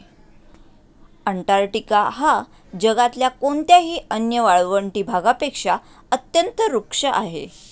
Antarctica हा जगातल्या कोणत्याही अन्य वाळवंटी भागापेक्षा अत्यंत रुक्ष आहे